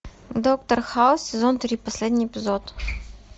доктор хаус сезон три последний эпизод